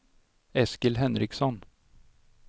Eskil Henriksson